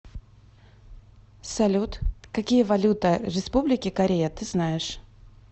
салют какие валюта республики корея ты знаешь